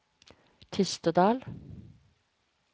Tistedal